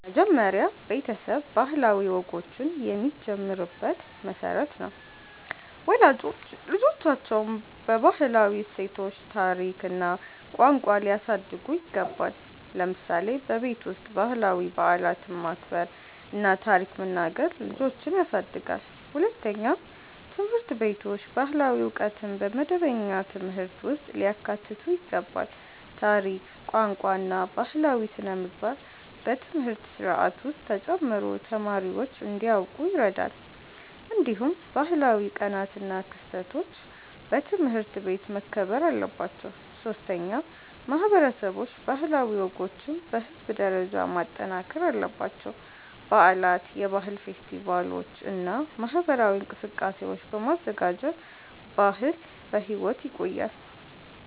መጀመሪያ ቤተሰብ ባህላዊ ወጎችን የሚጀምርበት መሠረት ነው። ወላጆች ልጆቻቸውን በባህላዊ እሴቶች፣ ታሪክ እና ቋንቋ ሊያሳድጉ ይገባል። ለምሳሌ በቤት ውስጥ ባህላዊ በዓላትን ማክበር እና ታሪክ መናገር ልጆችን ያሳድጋል። ሁለተኛ፣ ትምህርት ቤቶች ባህላዊ ዕውቀትን በመደበኛ ትምህርት ውስጥ ሊያካትቱ ይገባል። ታሪክ፣ ቋንቋ እና ባህላዊ ሥነ-ምግባር በትምህርት ስርዓት ውስጥ ተጨምሮ ተማሪዎች እንዲያውቁ ይረዳል። እንዲሁም ባህላዊ ቀናት እና ክስተቶች በትምህርት ቤት መከበር አለባቸው። ሶስተኛ፣ ማህበረሰቦች ባህላዊ ወጎችን በህዝብ ደረጃ ማጠናከር አለባቸው። በዓላት፣ የባህል ፌስቲቫሎች እና ማህበራዊ እንቅስቃሴዎች በማዘጋጀት ባህል በሕይወት ይቆያል።